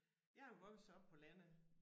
Jeg jo vokset op på landet